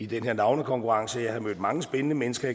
den her navnekonkurrence sagde jeg har mødt mange spændende mennesker